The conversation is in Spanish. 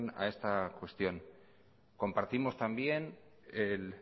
a esta cuestión compartimos también el